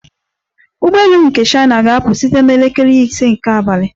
Ụgbọ elu m na China ga-apụ site na elekere ise nke abalị